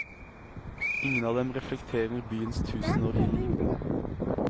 Ingen av dem reflekterer byens tusenårige liv.